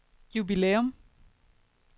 jubilæum